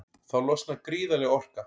Þá losnar gríðarleg orka.